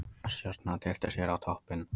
Stjarnan tyllti sér á toppinn